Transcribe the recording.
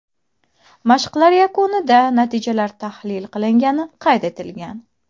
Mashqlar yakunida natijalar tahlil qilingani qayd etilgan.